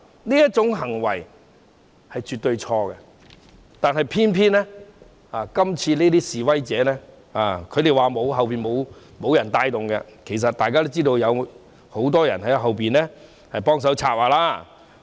這種行為絕對是錯的，但偏偏今次的示威者說背後沒有人部署，其實大家都知道，有很多人在背後協助策劃。